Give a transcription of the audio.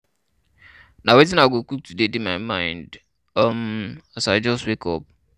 Na wetin I go cook today dey my mind um as I just wake up.